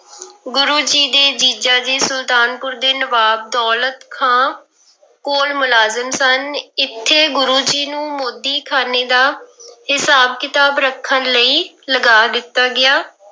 ਗੁਰੂ ਜੀ ਦੇ ਜੀਜਾ ਜੀ ਸੁਲਤਾਨਪੁਰ ਦੇ ਨਵਾਬ ਦੌਲਤ ਖਾਂ ਕੋਲ ਮੁਲਾਜ਼ਮ ਸਨ, ਇੱਥੇ ਗੁਰੂ ਜੀ ਨੂੰ ਮੋਦੀਖਾਨੇ ਦਾ ਹਿਸਾਬ ਕਿਤਾਬ ਰੱਖਣ ਲਈ ਲਗਾ ਦਿੱਤਾ ਗਿਆ।